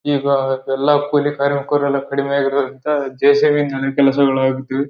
ಈಗ ಎಲ್ಲಾ ಕೂಲಿ ಕಾರ್ಮಿಕರೆಲ್ಲ ಕಡಿಮೆ ಆಗಿರುವುದರಿಬಿದ ಜೆ.ಸಿ.ಬಿ ನಲ್ಲಿ ಕೆಲಸಗಳು ಆಗುತ್ತಿವೆ .